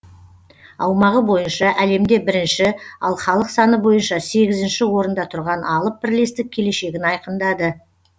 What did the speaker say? аумағы бойынша әлемде бірінші ал халық саны бойынша сегізінші орында тұрған алып бірлестік келешегін айқындады